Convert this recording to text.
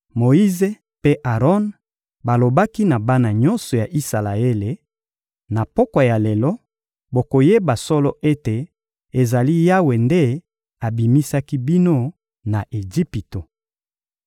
Moyize mpe Aron balobaki na bana nyonso ya Isalaele: — Na pokwa ya lelo, bokoyeba solo ete ezali Yawe nde abimisaki bino na Ejipito.